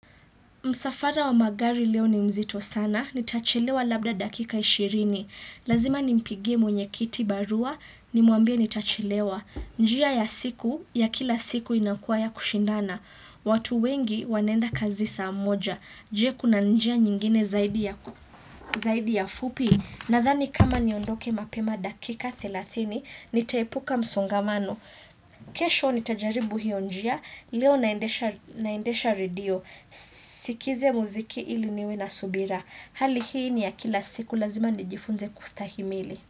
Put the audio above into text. Msafara wa magari leo ni mzito sana, nitachelewa labda dakika ishirini. Lazima nimpigie mwenye kiti barua, nimwambie nitachelewa. Njia ya siku, ya kila siku inakuwa ya kushindana. Watu wengi wanenda kazi saa moja. Je? Kuna njia nyingine zaidi ya fupi. Nadhani kama niondoke mapema dakika thelathini, nitaepuka msongamano. Kesho nitajaribu hio njia, leo naendesha radio. Sikize muziki ili niwe na subira Hali hii ni ya kila siku lazima nijifunze kustahimili.